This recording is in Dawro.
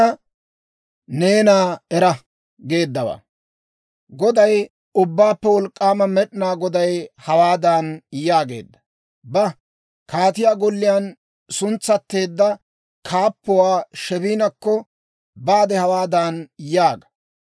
Goday, Ubbaappe Wolk'k'aama Med'inaa Goday hawaadan yaageedda; «Ba; kaatiyaa golliyaan suntsetteedda kaappuwaa Sheebinakko baade hawaadan yaaga;